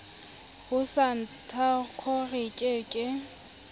ho santaco re ke ke